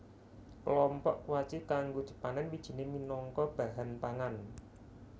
Klompok kuaci kanggo dipanèn wijiné minangka bahan pangan